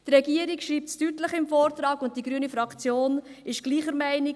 Die Regierung schreibt es in ihrem Vortrag deutlich, und die grüne Fraktion ist gleicher Meinung: